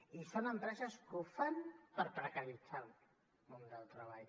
i són empreses que ho fan per precaritzar el món del treball